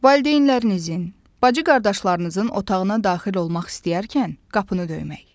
Valideynlərinizin, bacı-qardaşlarınızın otağına daxil olmaq istəyərkən qapını döymək.